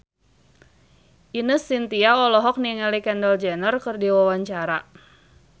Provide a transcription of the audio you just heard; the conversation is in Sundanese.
Ine Shintya olohok ningali Kendall Jenner keur diwawancara